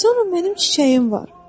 Sonra mənim çiçəyim var.